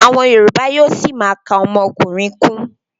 Àwọn yorùbá yóó ṣima ka ọmọkùnrin kún.